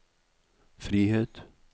frihet